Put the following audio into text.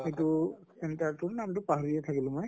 এইটো তিনটা তোৰ নাম টো পাহৰিলো থাকিলো মই